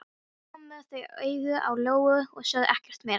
Svo komu þau auga á Lóu-Lóu og sögðu ekkert meira.